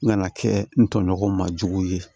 N kana kɛ n tɔɲɔgɔn ma jugu ye